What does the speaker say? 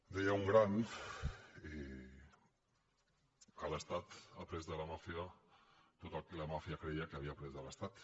deia un gran que l’estat ha après de la màfia tot el que la màfia creia que havia après de l’estat